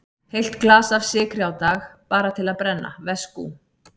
Heilt glas af sykri á dag, bara til að brenna, veskú.